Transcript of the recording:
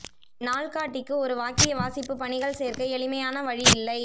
நாள்காட்டிக்கு ஒரு வாக்கிய வாசிப்பு பணிகள் சேர்க்க எளிமையான வழி இல்லை